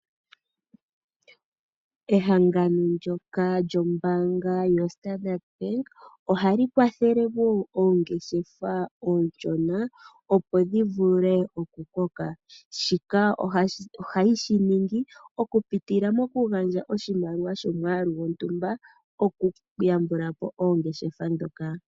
Ehangano ndyoka lyombaanga yo standard bank . Ohali kwathele woo oongeshefa oonshona opo dhi vule oku koka. Shika ohayi shi ningi oku pitila moku gandja oshimaliwa sho mwaalu gontumba oku yambulapo oongeshefa ndhoka.